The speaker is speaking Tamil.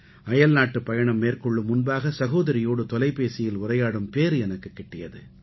அயல்நாட்டுப் பயணம் மேற்கொள்ளும் முன்பாக சகோதரியோடு தொலைபேசியில் உரையாடும் பேறு எனக்குக் கிட்டியது